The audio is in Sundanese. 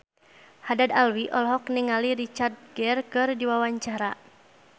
Haddad Alwi olohok ningali Richard Gere keur diwawancara